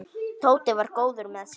Tóti var góður með sig.